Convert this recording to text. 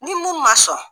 Ni mun ma sɔn